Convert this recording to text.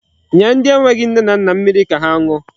Nye ndi enweghi nne na nna mmiri ka ha ṅụọ.